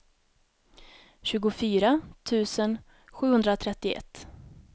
tjugofyra tusen sjuhundratrettioett